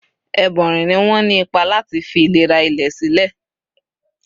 Ẹ̀bọ́nrin ni wọ́n ní ipa lati fi ìlera ilẹ̀ sílẹ̀.